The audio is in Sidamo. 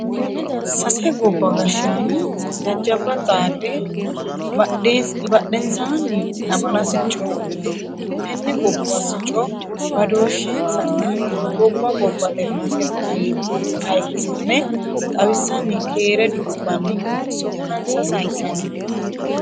Sase gobba gashshaano jajjabba xaade badhensanni lamala sicco wodhite tenne gobbuwa sicco badooshensanna gobba gobbate noose ayirrisame xawisanni keere dudubanni sokkansa saysanni no.